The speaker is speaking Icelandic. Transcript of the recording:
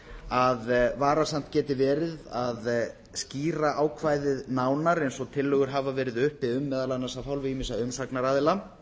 að varasamt geti verið að skýra ákvæðið nánar eins og tillögur hafa verið uppi um meðal annars af hálfu ýmissa umsagnaraðila